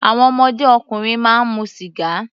Àwọn ọmọdé ọkùnrin máa mu sìgá.